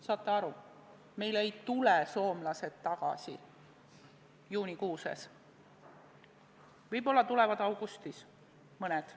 Saate aru, meile ei tule soomlased tagasi juunikuus, võib-olla tulevad augustis – mõned.